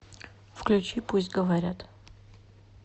включи пусть говорят